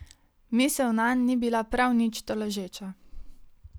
Misel nanj ni bila prav nič tolažeča.